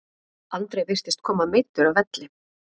Andri virtist koma meiddur af velli?